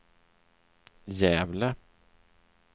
Gävle